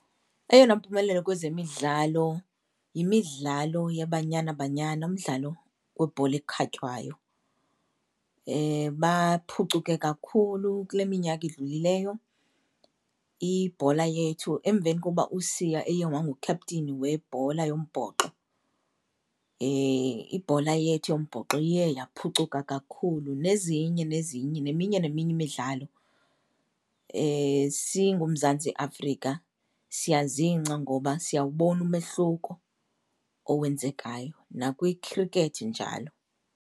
Eyona mpumelelo kwezemidlalo yimidlalo yeBanyana Banyana, umdlalo webhola ekhatywayo, baphucuke kakhulu kule minyaka idlulileyo ibhola yethu. Emveni kokuba uSiya eye wangu-captain webhola yombhoxo, ibhola yethu yombhoxo iye yaphucuka kakhulu. Nezinye nezinye, neminye neminye imidlalo singuMzantsi Afrika siyazingca ngoba siyawubona umehluko owenzekayo, nakwikhrikhethi njalo.